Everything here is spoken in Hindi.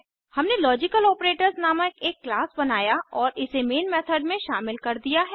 हमने लॉजिकलोपरेटर्स नामक एक क्लास बनाया और इसे मेन मेथड में शामिल कर दिया है